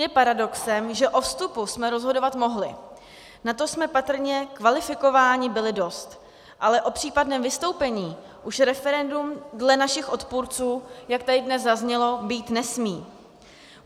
Je paradoxem, že o vstupu jsme rozhodovat mohli, na to jsme patrně kvalifikováni byli dost, ale o případném vystoupení už referendum dle našich odpůrců, jak tady dnes zaznělo, být nesmí.